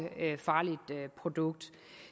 farligt produkt